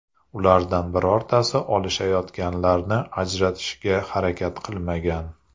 Ulardan birortasi olishayotganlarni ajratishga harakat qilmagan.